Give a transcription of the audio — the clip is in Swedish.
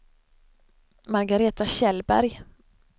Margareta Kjellberg